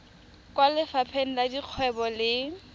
kwa lefapheng la dikgwebo le